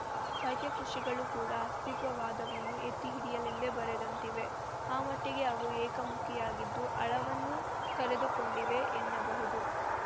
ಅವನ ಸಾಹಿತ್ಯ ಕೃತಿಗಳು ಕೂಡ ಅಸ್ತಿತ್ವವಾದವನ್ನು ಎತ್ತಿಹಿಡಿಯಲೆಂದೇ ಬರೆದಂತಿವೆ ಆ ಮಟ್ಟಿಗೆ ಅವು ಏಕಮುಖಿಯಾಗಿದ್ದು ಆಳವನ್ನು ಕಳೆದುಕೊಂಡಿವೆ ಎನ್ನಬಹುದು